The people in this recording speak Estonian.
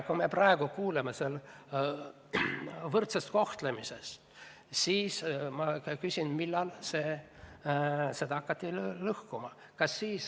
Kui me praegu kuuleme siin võrdsest kohtlemisest, siis ma küsin, et millal seda hakati lõhkuma.